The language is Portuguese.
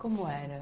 Como era?